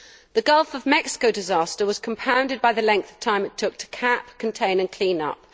The Gulf of Mexico disaster was compounded by the length of time it took to cap, contain and clean up.